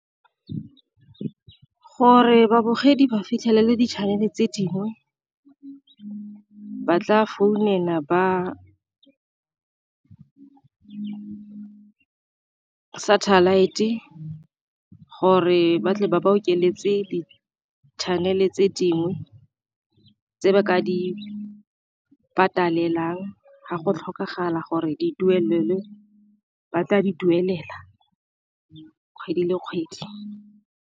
Gore babogedi ba fitlhelele di-channel tse dingwe ba tla founela ba satellite gore ba tle ba ba okeletsa tse di-channel tse dingwe, tse ba ka di patelelang ga go tlhokagala gore di duelelwe ba tla di duelela kgwedi le kgwedi.